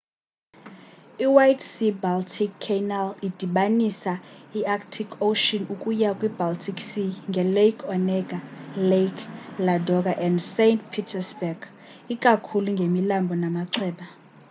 i white sea-baltic canal idibanisa i-arctic ocean ukuya kwi baltic sea nge-lake onega lake ladoga and saint petersburg ikakhulu ngemilambo namachweba